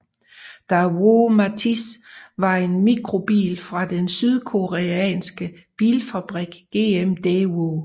Daewoo Matiz var en mikrobil fra den sydkoreanske bilfabrikant GM Daewoo